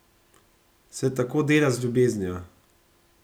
Se tako dela z ljubeznijo?